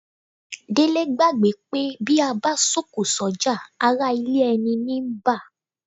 Délé gbàgbé pé bí a bá sọ̀kò sọ́jà ará ilé ẹni ní ń bá